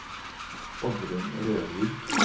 Oddrun Rørvik